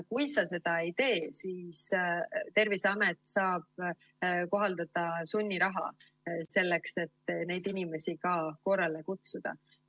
Kui sa seda ei tee, siis Terviseamet saab kohaldada sunniraha selleks, et neid inimesi ka korrale kutsuda.